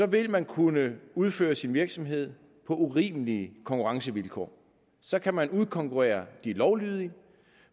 vil man kunne udføre sin virksomhed på urimelige konkurrencevilkår så kan man udkonkurrere de lovlydige